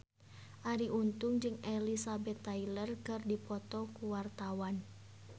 Arie Untung jeung Elizabeth Taylor keur dipoto ku wartawan